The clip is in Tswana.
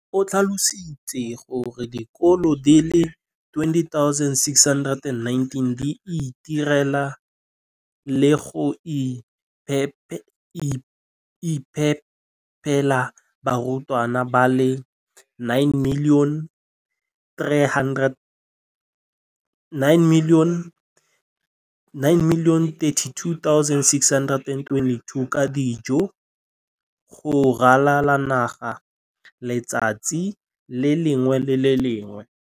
O tlhalositse gore dikolo di le 20 619 di itirela le go iphepela barutwana ba le 9 032 622 ka dijo go ralala naga letsatsi le lengwe le le lengwe.